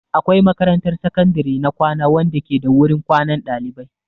Akwai makarantar sakandare na kwana wanda ke da wurin kwanan ɗalibai.